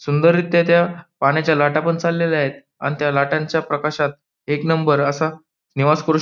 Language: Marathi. सुंदररित्या त्या पाण्याच्या लाटा पण चाललेल्या आहेत आणि त्या लाटांच्या प्रकाशात एक नंबर असा निवास कृष् --